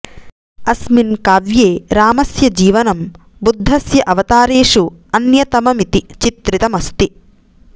अस्मिन् काव्ये रामस्य जीवनं बुद्धस्य अवतारेषु अन्यतममिति चित्रितमस्ति